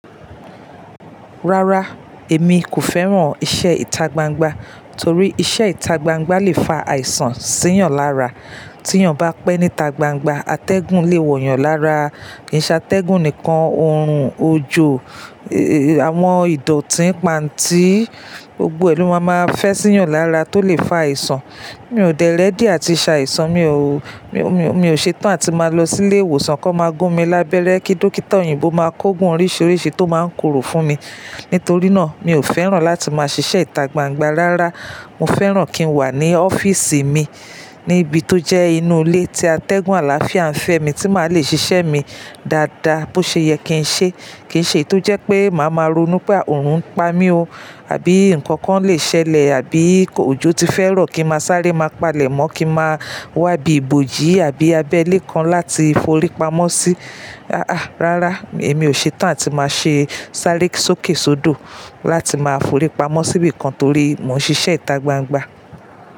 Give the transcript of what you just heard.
Rárá, èmi kò fẹ́ràn iṣẹ́ ìta gbangba torí iṣẹ́ ìta gbangba le fa àìsàn sí yàn lára. Tí yàn bá pẹ́ níta gbangba atẹ́gùn le wọ̀ yàn lára, kì í ṣa tẹ́gùn nìkan, òòrùn, òjò, àwọn ìdọ̀tí pańti, gbogbo ẹ lò máa máa fẹ́ sí yàn lára tó lè fa àìsàn. Mi ò dẹlẹ̀dí àti ṣàìsàn, mi ò, mi ò, mi ò ṣe tán àti máa lọ sílé ìwòsàn kí wọ́n máa gún mi lábẹ́rẹ́ kí dókítà òyìnbó máa kógun oríṣiríṣi tó máa ń korò fún mi. Nítorí náà mi ò fẹ́ràn láti máa ṣiṣẹ́ ìta gbangba. Rárá, mo fẹ́ràn kí n wà ní ọ́fíìsì mi níbi tó jẹ́ inú ilé tí atẹ́gùn àlàáfíà ń fẹ́ mi tí màá le ṣiṣẹ́ mi dáadáa bó ṣe yẹ kí n ṣe. Kì í ṣe eyi tó jẹ́ pé màá máa ronú pé òòrùn ń pa mí o àbí ǹkan kan lè ṣẹlẹ̀ àbí òjò ti fẹ́ro kí máa sáré máa palẹ̀ mọ́ kí máa wá ibi ibojì àbí abẹ́lé kan láti forí pamọ́ sí. Rárá èmi ò ṣe tán àti máa ṣẹ́ sárẹ sókèsódò láti máa forí pamọ́ síbi kan torí mò ń ṣiṣẹ́ ìta gbangba.